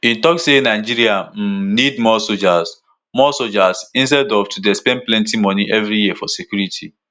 e tok say "nigeria um need more soldiers more soldiers instead of to dey spend plenty money eviri year for security."